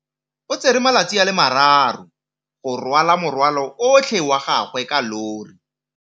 O tsere malatsi a le marraro go rwala morwalo otlhe wa gagwe ka llori.